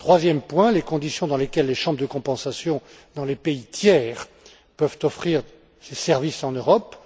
Troisième point, les conditions dans lesquelles les chambres de compensation, dans les pays tiers, peuvent offrir ces services en Europe.